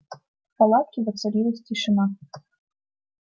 в палатке воцарилась тишина